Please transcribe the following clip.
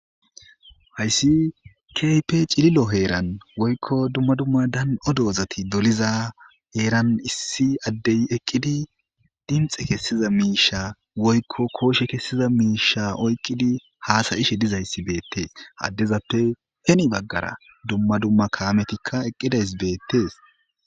hayssi keype cililo heeran woykko dumma dumma dan7o doozati doliza heeran issi addey eqqidi dinxe kessiza miisha woykko kooshe kessiza miisha oyqqidi haasayishe dizayssi beettees addezappe heni baggara dumma dumma kayametikka eqqidays beettees